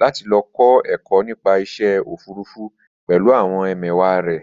láti lọ kọ́ ẹ̀kọ́ nípa iṣẹ́ òfurufú pẹ̀lú àwọn ẹmẹ̀wàá rẹ̀